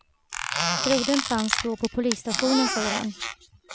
Brodern fanns då på polisstationen, säger han.